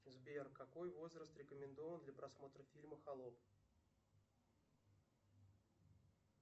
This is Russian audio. сбер какой возраст рекомендован для просмотра фильма холоп